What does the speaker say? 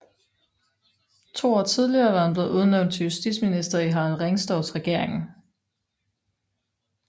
To år tidligere var han blevet udnævnt til justitsminister i Harald Ringstorffs regering